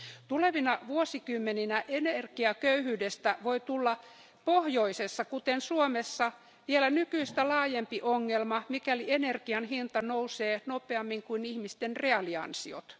Tulevina vuosikymmeninä energiaköyhyydestä voi tulla pohjoisessa, kuten Suomessa, vielä nykyistä laajempi ongelma, mikäli energian hinta nousee nopeammin kuin ihmisten reaaliansiot.